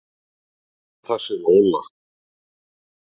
Og þessi Lola.